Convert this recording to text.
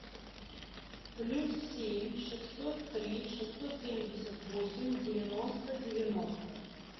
плюс семь шестьсот три шестьсот семьдесят восемь девяносто девяносто